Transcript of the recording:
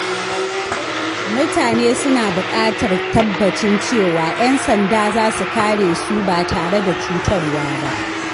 Mutane suna buƙatar tabbacin cewa ƴan sanda za su kare su ba tare da cutarwa ba.